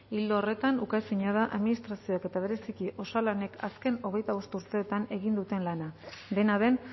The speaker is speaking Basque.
ildo horretan uka ezina da administrazioek eta bereziki osalanek azken hogeita bost urteetan egin duten lana dena den